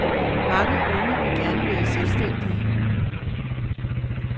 Mange unge vil gerne være selvstændige.